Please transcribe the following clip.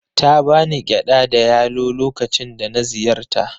Ta ba ni gyada da yalo lokacin da na ziyarta.